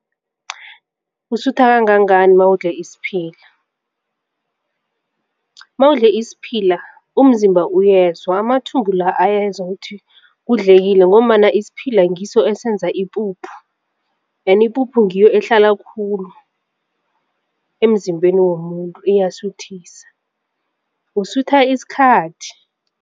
Usutha kangangani nawudle isiphila? Nawudle isiphila umzimba uyezwa amathumbu la ayenza ukuthi kudlekile ngombana isiphila ngiso esenza ipuphu kanti ipuphu ngiyo ehlala khulu emzimbeni womuntu iyasuthisa usutha isikhathi.